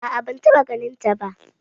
A'a ban taɓa ganin ta ba